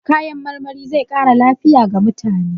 Kayan marmari zai ƙara lafiya ga mutane.